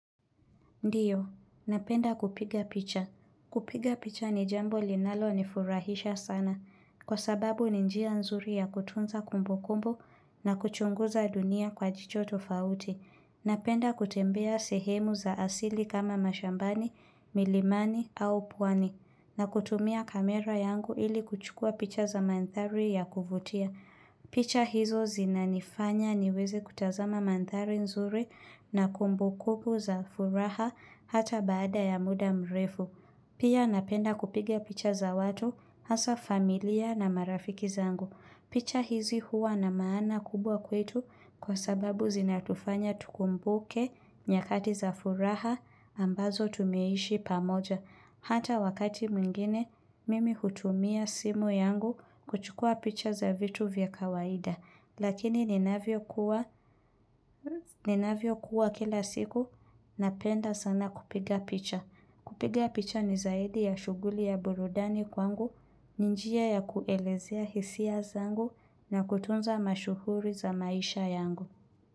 Ndiyo. Napenda kupiga picha. Kupiga picha ni jambo linalo nifurahisha sana. Kwa sababu ninjia nzuri ya kutunza kumbu kumbu na kuchunguza dunia kwa jicho tofauti. Napenda kutembea sehemu za asili kama mashambani, milimani au puwani. Na kutumia kamera yangu ili kuchukua picha za mandhari ya kuvutia. Picha hizo zinanifanya niweze kutazama mandhari nzuri na kumbukumbu za furaha hata baada ya muda mrefu. Pia napenda kupigia picha za watu hasa familia na marafiki zangu. Picha hizi hua na maana kubwa kwetu kwa sababu zinatufanya tukumbuke nyakati za furaha ambazo tumeishi pamoja. Hata wakati mwingine, mimi hutumia simu yangu kuchukua picha za vitu vya kawaida. Lakini ninavyo kuwa kila siku, napenda sana kupiga picha. Kupiga picha ni zaidi ya shuguli ya burudani kwangu, ninjia ya kuelezea hisia zangu na kutunza mashuhuri za maisha yangu.